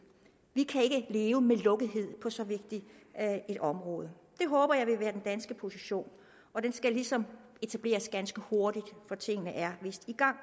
vi kan ikke leve med lukkethed på så vigtigt et område det håber jeg vil være den danske position og den skal ligesom etableres ganske hurtigt for tingene er vist i gang